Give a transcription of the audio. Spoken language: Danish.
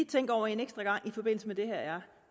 tænke over en ekstra gang i forbindelse med det her er